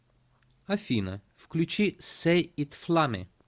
афина включи сэй ит фламе